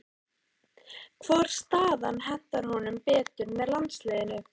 Hvor staðan hentar honum betur með landsliðinu?